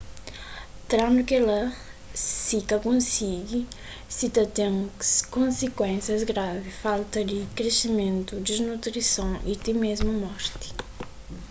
trandu kela si ka konsigi si ta ten konsikuénsias gravi falta di krisimentu disnutrison y ti mésmu morti